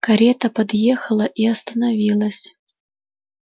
карета подъехала и остановилась